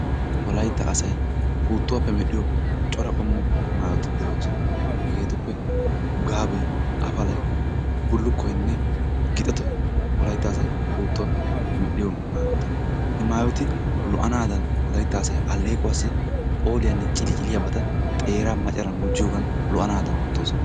Wolayitta asay puuttuwaappe medhdhiyo cora qommo maayoti de'oosona. Hegeetuppe gaabee, afalay, bullukkoynne gixetoy wolayitta asay puuttuwaappe medhdhiyo maayota. He maayoti lo"anaadan wolayitta asay alleequwaassi phooliyaanne ciliciliyaabata xeeran macaran gujjiyoogan lo"anaadan oottoosona.